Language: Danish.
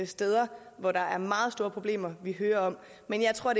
steder hvor der er meget store problemer vi hører om men jeg tror